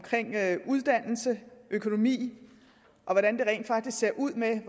uddannelse og økonomi og hvordan det rent faktisk ser ud med